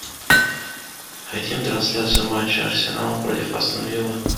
хотим трансляцию матча арсенал против астон виллы